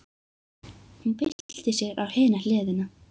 Hún byltir sér á hina hliðina.